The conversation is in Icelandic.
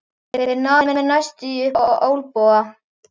Þeir náðu mér næstum upp á olnboga.